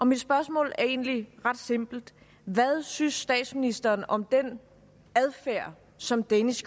mit spørgsmål er egentlig ret simpelt hvad synes statsministeren om den adfærd som danish